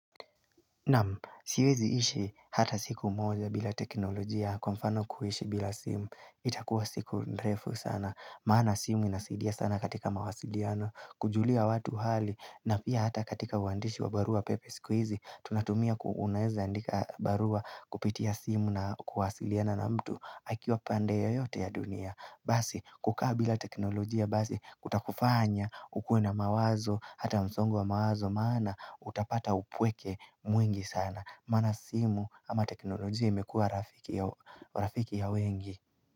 Namu, siwezi ishi hata siku moja bila teknolojia kwa mfano kuhishi bila simu. Itakuwa siku nrefu sana. Maana simu inasidia sana katika mawasidiano. Kujulia watu hali na pia hata katika wandishi wa barua pepe skuizi tunatumia kuuneza ndika barua kupitia simu na kuhasiliana na mtu hakiwa pande yo yote ya dunia. Basi, kukabila teknolojia, basi, kutakufanya, ukuna mawazo, hata msongo wa mawazo, maana, utapata upweke mwingi sana. Mana simu ama teknolojia imekua rafiki ya wengi.